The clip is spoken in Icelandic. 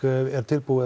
er tilbúið